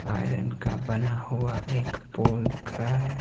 Iron का बना हुआ एक पोल दिख रहा है।